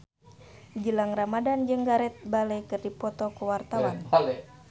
Gilang Ramadan jeung Gareth Bale keur dipoto ku wartawan